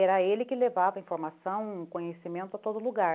Era ele que levava informação, conhecimento a todo lugar.